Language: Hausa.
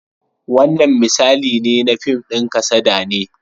Wannan misali ne na fim ɗin kasada ne.